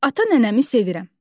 Ata nənəmi sevirəm.